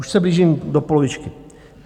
Už se blížím do polovičky.